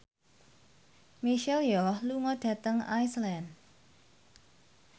Michelle Yeoh lunga dhateng Iceland